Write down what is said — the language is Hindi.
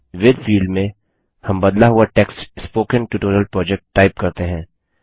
विथ फील्ड में हम बदला हुआ text spoken tutorial project type करते हैं